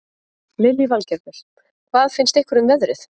Lillý Valgerður: Hvað finnst ykkur um veðrið?